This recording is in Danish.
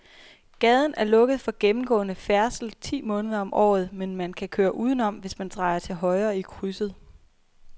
Gaden er lukket for gennemgående færdsel ti måneder om året, men man kan køre udenom, hvis man drejer til højre i krydset.